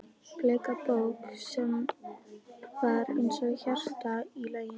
Bleika bók sem var eins og hjarta í laginu?